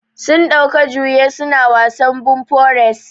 Sun ɗauka juye su na wasan bumper race.